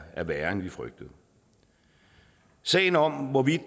er værre end vi frygtede sagen om hvorvidt